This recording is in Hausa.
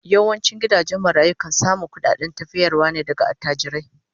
Yawancin gidajen marayu kan samu kudaden tafiyarwa ne daga attajirai